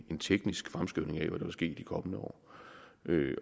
en teknisk fremskrivning af hvad der vil ske i de kommende år